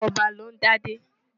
Ọba ló ń dádé.